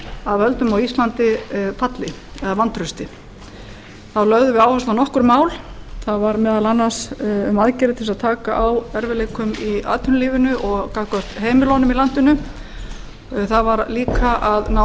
að völdum á íslandi falli eða vantrausti þá lögðum við áherslu á nokkur mál það var meðal annars um aðgerðir til þess að taka á erfiðleikum í atvinnulífinu og gagnvart heimilunum í landinu það var líka að ná